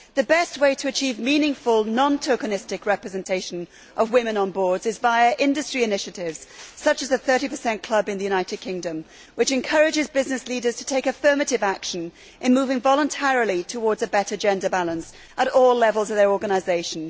The best way to achieve meaningful, non tokenistic representation of women on boards is by industry initiatives, such as the 30 club in the United Kingdom which encourages business leaders to take affirmative action in moving voluntarily towards a better gender balance at all levels of their organisation.